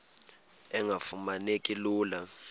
engafuma neki lula